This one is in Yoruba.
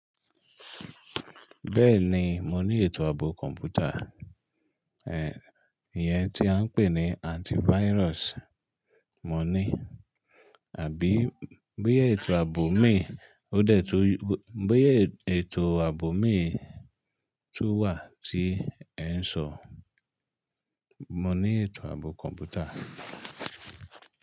Bẹ́ẹ̀ni, mo ní ètò ààbò kọ̀ǹpútà. Ìyẹn tí a ń pè ní antivirus, mo ní àbí bóyá ètò ààbò mí òdẹ̀ tó, bóyá ètò ààbò mí tún wà tí ẹ ń sọ, mo ní ètò ààbò kọ̀ǹpútà.